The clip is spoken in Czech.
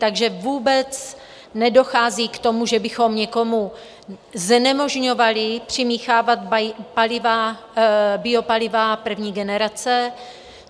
Takže vůbec nedochází k tomu, že bychom někomu znemožňovali přimíchávat biopaliva první generace.